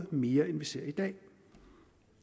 mere end vi ser i dag